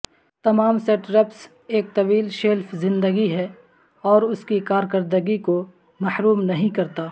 تمام سٹرپس ایک طویل شیلف زندگی ہے اور اس کی کارکردگی کو محروم نہیں کرتا